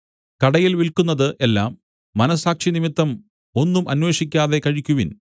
കടയിൽ വിൽക്കുന്നത് എല്ലാം മനസ്സാക്ഷി നിമിത്തം ഒന്നും അന്വേഷിക്കാതെ കഴിക്കുവിൻ